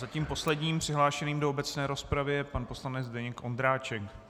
Zatím posledním přihlášeným do obecné rozpravy je pan poslanec Zdeněk Ondráček.